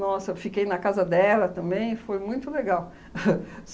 fiquei na casa dela também, foi muito legal.